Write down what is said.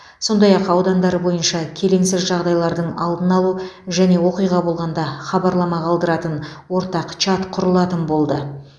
сондай ақ аудандары бойынша келеңсіз жағдайлардың алдын алу және оқиға болғанда хабарлама қалдыратын ортақ чат құрылатын болды